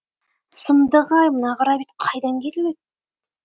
сұмдық ай мына қарабет қайдан келіп еді